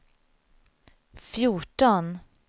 fjorton